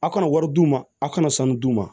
Aw kana wari d'u ma aw kana sanu d'u ma